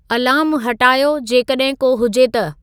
अलार्मु हटायो, जेकॾहिं को हुजे त